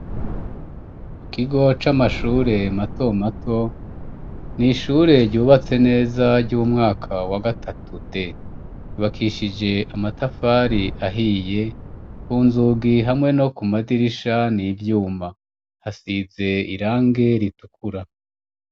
Kukigo c'amashure mato mato nishure ryubatse neza ry'umwaka wa gatatu D yubakishije amatafari ahiye ku nzugi hamwe no ku madirisha n'ivyuma hasize irangi ritukura.